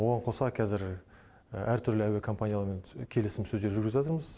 оған қоса кәзір әртүрлі әуекомпанияларымен келісімсөздер жүргізіватырмыз